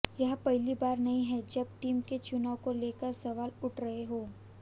यह पहली बार नहीं हैं जब टीम के चुनाव को लेकर सवाल उठ रहे हों